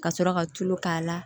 Ka sɔrɔ ka tulu k'a la